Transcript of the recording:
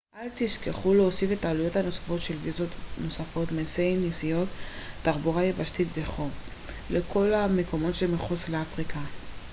אל תשכחו להוסיף את העלויות הנוספות של ויזות נוספות מסי נסיעות תחבורה יבשתית וכו' לכל המקומות שמחוץ לאפריקה